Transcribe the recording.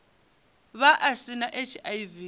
vha a si na hiv